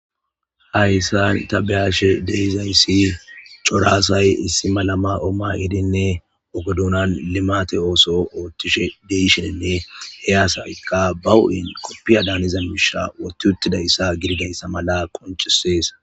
Haysan ta beyashe dizaysi cora asay issi mala mayo mayidinne oge dunan limate oso othishe de'ishenne he asykka ba huphen kopiya daniza mishe wothi gidaysa mala qoncisese